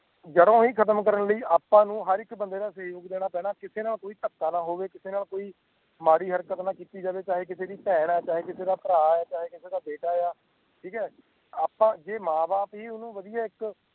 ਜੜੋਂ ਹੀ ਖਤਮ ਕਰਨ ਲਾਇ ਆਪਾ ਨੂੰ ਹਰ ਇੱਕ ਬੰਦੇ ਦਾ ਸਯੋਗ ਦੇਣਾ ਪੈਣਾ ਕਿਸੇ ਨਾਲ ਕੋਈ ਤਕਾ ਨਾ ਹੋਵੇ ਕਿਸੇ ਨਾਲ ਕੋਈ ਮਾੜੀ ਹਰਕਤ ਨਾ ਕੀਤੀ ਜਾਵੇ ਚਾਹੇ ਕਿਸੇ ਦੀ ਭੈਣ ਚਾਹੇ ਕਿਸੇ ਦਾ ਭਰਾ ਚਾਹੇ ਕਿਸੇ ਦਾ ਬੇਟਾ ਠੀਕ ਹੈ ਆਪਾ ਜੇ ਮਾਂ ਬਾਪ ਹੀ ਓਹਨੂੰ ਵਦਿਹਾ ਇੱਕ